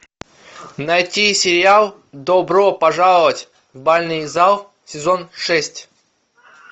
найти сериал добро пожаловать в бальный зал сезон шесть